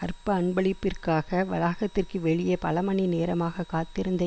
அற்ப அன்பளிப்பிற்காக வளாகத்திற்கு வெளியே பல மணி நேரமாக காத்திருந்த